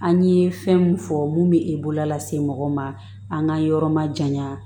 An ye fɛn mun fɔ mun bɛ e bololase mɔgɔ ma an ka yɔrɔ ma janya